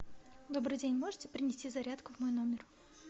добрый день можете принести зарядку в мой номер